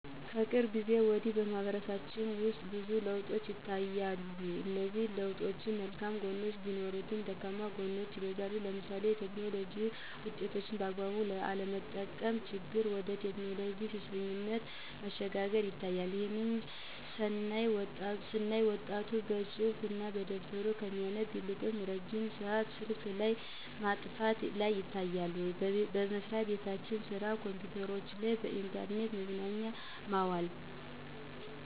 ከቅርብ ጊዜ ወዲህ በማህበረሰባችን ውስጥ ብዙ ለውጦች ይታያሉ እነዚህ ለውጦች መልካም ግኖች ቢኖሩትም ደካማ ጎኖች ይበዛሉ ለምሳሌ የቴክኖሎጂ ውጤቶችን በአግባቡ አለመጠቀም ችግር ወደ ቴክኖሎጂ ሱሰኝነት መሸጋገር ይታያል። ይህንንም ስናይ ወጣቱ መፅሀፍ እና ደብተር ከሚያነብ ይልቅ ረጅም ሰአት ስልክ ላይ ማጥፋት ላይ ይታያል። በየመስራቤቱ የስራ ኮምፒዉተሮችን ለኢንተርኔት መዝናኛነት ማዋል።